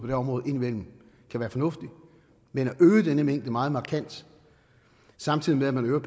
her område indimellem kan være fornuftigt men at øge denne mængde meget markant samtidig med at man øger